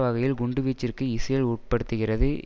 வகையில் குண்டுவீச்சிற்கு இஸ்ரேல் உட்படுத்துகிறது